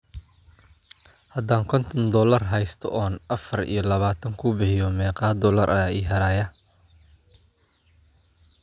haddaan konton doollar haysto oo aan afar iyo labaatan ku bixiyo, meeqa doollar ayaa ii hadhaya?